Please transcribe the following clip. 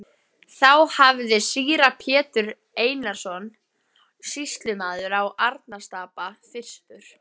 Þá hafði síra Pétur Einarsson sýslumaður á Arnarstapa fyrstur